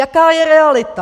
Jaká je realita?